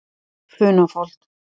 Funafold